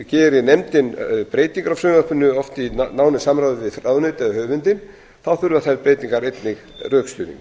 geri nefndin breytingar á frumvarpinu oft í nánu samráði við ráðuneytið eða höfundinn þurfa þær breytingar einnig rökstuðning